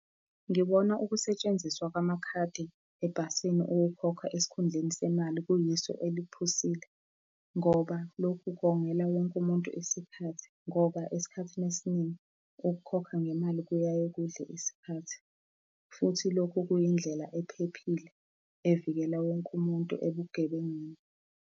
Ngibona ukusetshenziswa kwamakhadi ebhasini ukukhokha esikhundleni semali kuyisu eliphusile, ngoba lokhu kongela wonke umuntu isikhathi, ngoba esikhathini esiningi ukukhokha ngemali kuyaye kudle isikhathi, futhi lokho kuyindlela ephephile evikela wonke umuntu ebugebengwini.